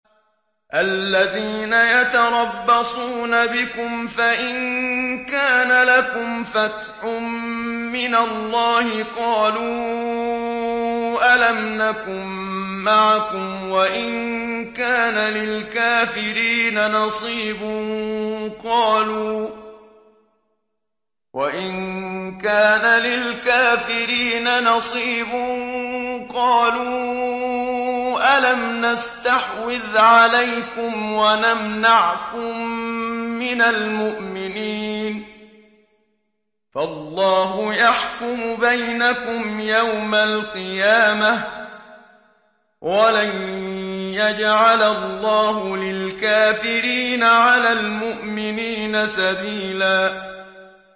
الَّذِينَ يَتَرَبَّصُونَ بِكُمْ فَإِن كَانَ لَكُمْ فَتْحٌ مِّنَ اللَّهِ قَالُوا أَلَمْ نَكُن مَّعَكُمْ وَإِن كَانَ لِلْكَافِرِينَ نَصِيبٌ قَالُوا أَلَمْ نَسْتَحْوِذْ عَلَيْكُمْ وَنَمْنَعْكُم مِّنَ الْمُؤْمِنِينَ ۚ فَاللَّهُ يَحْكُمُ بَيْنَكُمْ يَوْمَ الْقِيَامَةِ ۗ وَلَن يَجْعَلَ اللَّهُ لِلْكَافِرِينَ عَلَى الْمُؤْمِنِينَ سَبِيلًا